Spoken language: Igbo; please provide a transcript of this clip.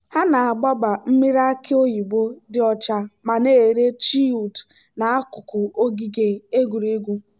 ha na-agbaba mmiri aki oyibo dị ọcha ma na-ere chilled n'akụkụ ogige egwuregwu.